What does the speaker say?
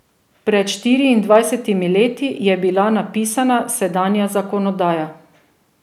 Pred štiriindvajsetimi leti je bila napisana sedanja zakonodaja.